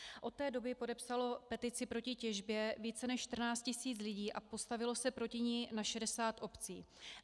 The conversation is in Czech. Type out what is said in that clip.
Od té doby podepsalo petici proti těžbě více než 14 000 lidí a postavilo se proti ní na 60 obcí.